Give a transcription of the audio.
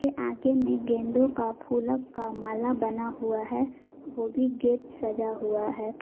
आगे में गेंदों का फूलों का माल बना हुआ है वो भी गेट सजा हुआ है।